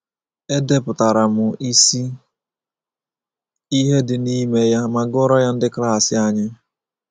Edepụtara m isi ihe dị n’ime ya ma gụọrọ ya ndị klas anyị.